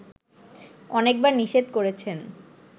অনেকবার নিষেধ করেছেন